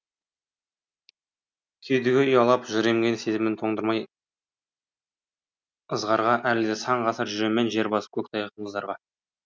кеудеге ұялап жыр емген сезімін тоңдырмай ызғарға әлі де сан ғасыр жүрем мен жер басып көк тайғақ мұздарда